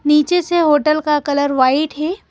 नीचे से होटल का कलर व्हाइट है।